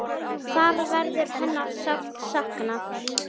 Þar verður hennar sárt saknað.